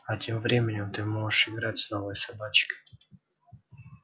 а тем временем ты можешь играть с новой собачкой